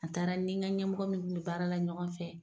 A taara n ni ka ɲɛmɔgɔ min kun be baara la ɲɔgɔn fɛ